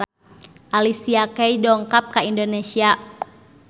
Alicia Keys dongkap ka Indonesia